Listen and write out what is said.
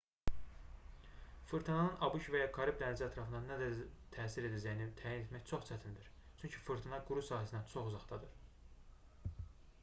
fırtınanın abş və ya karib dənizi ətrafına nə dərəcədə təsir edəcəyini təyin etmək çox çətindir çünki fırtına quru sahəsindən çox uzaqdadır